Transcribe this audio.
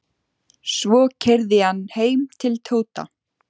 Svo keyrði ég hann heim til Tóta.